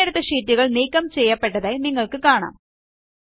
തിരഞ്ഞെടുത്ത ഷീറ്റുകൾ നീക്കം ചെയ്യപ്പെടുന്നത് നിങ്ങൾക്ക് കാണാം